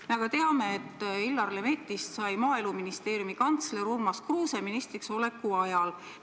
Me teame, et Illar Lemettist sai Maaeluministeeriumi kantsler Urmas Kruuse ministriks oleku ajal.